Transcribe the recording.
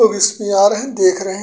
लोग इसपे आ रहे हैंदेख रहे हैं।